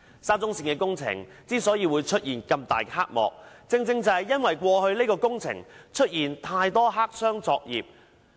沙中線的工程之所以出現這麼大的黑幕，正正是因為過去這項工程有太多黑箱作業。